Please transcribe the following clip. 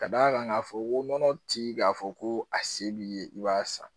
Ka d'a kan k'a fɔ ko nɔnɔ tigi k'a fɔ ko a se b'i ye i b'a san